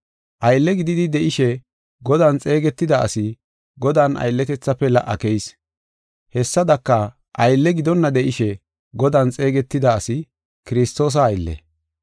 Aylle gididi de7ishe Godan xeegetida asi Godan aylletethafe la77a keyis. Hessadaka, aylle gidonna de7ishe, Godan xeegetida asi Kiristoosa aylle.